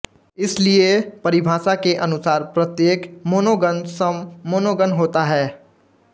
इसलिए परिभाषा के अनुसार प्रत्येक मोनोगन सम मोनोगन होता है